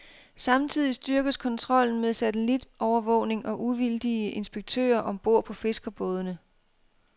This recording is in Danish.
Samtidig styrkes kontrollen med satellitovervågning og uvildige inspektører om bord på fiskerbådene.